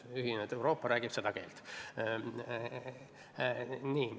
Ühinenud Euroopa räägib seda keelt.